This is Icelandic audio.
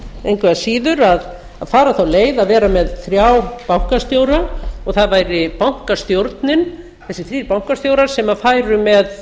engu að síður að fara þá leið að vera með þrjá bankastjóra og það væri bankastjórnin þessir þrír bankastjórar sem færu með